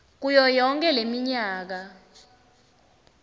kuyo yonkhe leminyaka